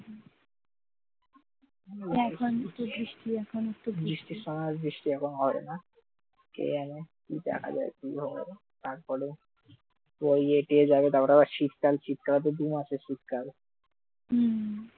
তারপর ইয়েটিয়ে যাবে তারপর আবার শীতকাল শীতকাল তো আবার দু'মাসের শীতকাল